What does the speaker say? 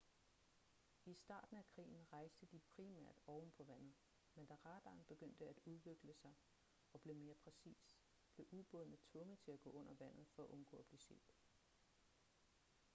i starten af krigen rejste de primært ovenpå vandet men da radaren begyndte at udvikle sig og blev mere præcis blev ubådene tvunget til at gå under vandet for at undgå at blive set